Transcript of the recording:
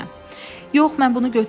Yox, mən bunu götürməyəcəm.